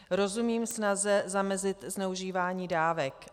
Rozumím snaze zamezit zneužívání dávek.